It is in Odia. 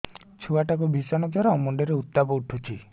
ଛୁଆ ଟା କୁ ଭିଷଣ ଜର ମୁଣ୍ଡ ରେ ଉତ୍ତାପ ଉଠୁଛି